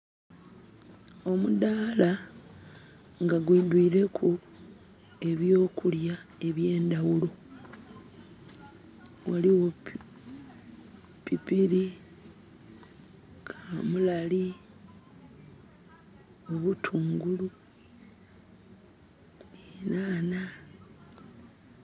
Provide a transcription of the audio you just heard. Omudaala nga gwi dwireku ebyokulya ebye ndawulo. Waliwo pipirii, kamulali, obutungulu, ehnanha